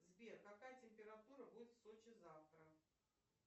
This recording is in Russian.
сбер какая температура будет в сочи завтра